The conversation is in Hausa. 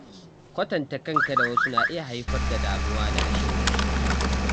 Kwatanta kanka da wasu na iya haifar da damuwa da rashin gamsuwa.